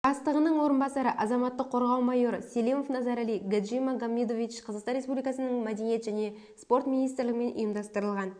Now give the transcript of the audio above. бастығының орынбасаары азаматтық қорғау майоры селимов назарали гаджимагомедович қазақстан республикасының мәдениет және спорт министрлігімен ұйымдастырылған